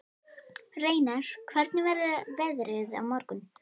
Reynar, hvernig verður veðrið á morgun?